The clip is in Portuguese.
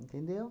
Entendeu?